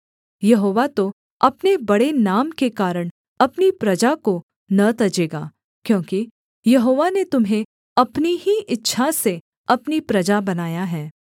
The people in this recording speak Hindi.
यहोवा तो अपने बड़े नाम के कारण अपनी प्रजा को न तजेगा क्योंकि यहोवा ने तुम्हें अपनी ही इच्छा से अपनी प्रजा बनाया है